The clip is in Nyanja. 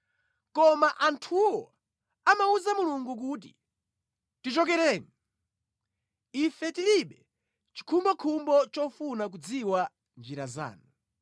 Koma anthuwo amawuza Mulungu kuti, ‘Tichokereni!’ Ife tilibe chikhumbokhumbo chofuna kudziwa njira zanu.